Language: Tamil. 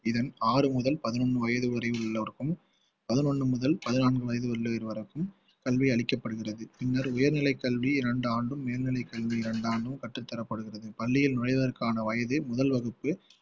இதன் ஆறு முதல் பதினொன்னு வயசு வரை உள்ளவருக்கும் பதினொன்னு முதல் பதினான்கு வயசு உள்ளவரைக்கும் கல்வி அளிக்கப்படுகிறது பின்னர் உயர்நிலை கல்வி இரண்டு ஆண்டும் மேல்நிலை கல்வி இரண்டு ஆண்டும் கற்றுத் தரப்படுகிறது பள்ளியில் நுழைவதற்கான வயதே முதல் வகுப்பு